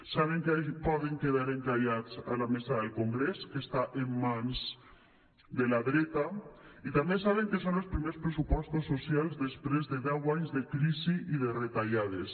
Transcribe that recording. saben que poden quedar encallats a la mesa del congrés que està en mans de la dreta i també saben que són els primers pressupostos socials després de deu anys de crisi i de retallades